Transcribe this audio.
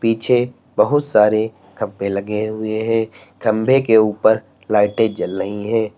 पीछे बहुत सारे खंभे लगे हुए हैं खंभे के ऊपर लाइटें जल रही हैं।